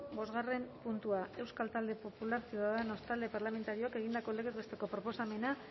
bosgarren puntua euskal talde popularra ciudadanos talde parlamentarioak egindako legez besteko proposamena